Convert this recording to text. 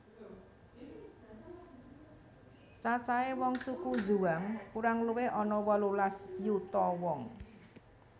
Cacahe wong suku Zhuang kurang luwih ana wolulas yuta wong